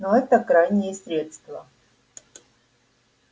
но это крайнее средство